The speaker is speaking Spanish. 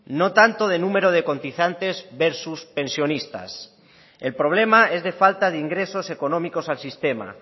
no tanto de número de cotizantes versus pensionistas el problema es de falta de ingresos económicos al sistema